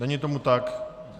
Není tomu tak.